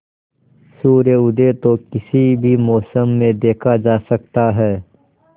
सूर्योदय तो किसी भी मौसम में देखा जा सकता है